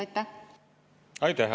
Aitäh!